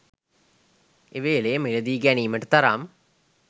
එව‍ලේ මිල දී ගැනීමට තරම්